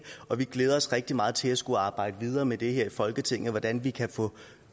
og vi glæder os rigtig meget til at skulle arbejde videre med det her i folketinget hvordan vi kan få